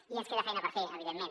i ens queda feina per fer evidentment